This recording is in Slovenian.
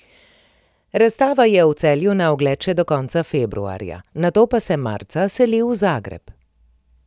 Razstava je v Celju na ogled še do konca februarja, nato pa se marca seli v Zagreb.